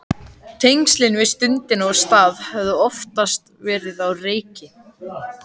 Tengslin við stund og stað höfðu oftast verið á reiki.